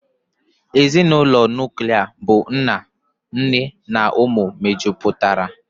Ezinụlọ nuklia bụ nna, nne na ụmụ mejupụtara